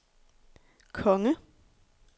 konge